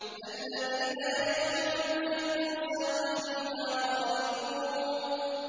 الَّذِينَ يَرِثُونَ الْفِرْدَوْسَ هُمْ فِيهَا خَالِدُونَ